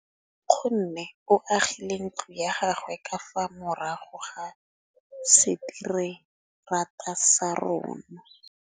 Nkgonne o agile ntlo ya gagwe ka fa morago ga seterata sa rona.